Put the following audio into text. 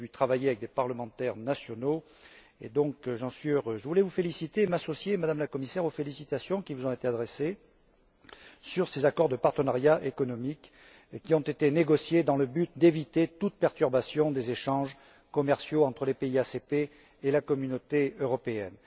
Je l'ai vu travailler avec des parlementaires nationaux et j'en suis donc heureux. Je voulais m'associer, Madame la Commissaire, aux félicitations qui vous ont été adressées sur ces accords de partenariat économique qui ont été négociés dans le but d'éviter toute perturbation des échanges commerciaux entre les pays ACP et la Communauté européenne.